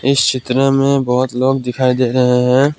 इस चित्र में बहोत लोग दिखाई दे रहे हैं।